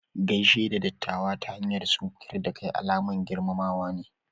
Gaishe da ɗattawa ta hanyar sunkuƴar da kai alaman girmamawa ne.